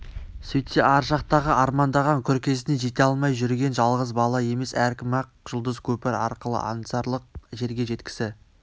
сөйтсе ар жақтағы армандаған күркесіне жете алмай жүрген жалғыз бала емес әркім-ақ жұлдыз көпір арқылы аңсарлық жерге жеткісі